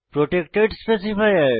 protected specifier